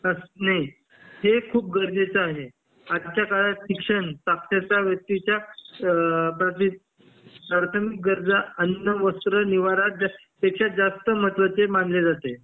हे खूप गरजेच आहे आजच्या काळात शिक्षण साक्षरता व्यक्तीच्या प्राथमिक गरजा अन्न वस्त्र निवारा ह्याच्यात जास्त महत्वाचे मानले जाते